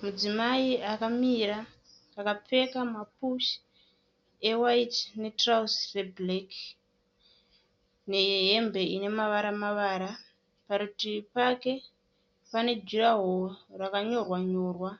Mudzimai akamira akapfeka mapushi ewaiti netirauzi rebhureki nehembe Ine mavara -mavara. Parutivi pake pane juraworo rakanyorwa-nyorwa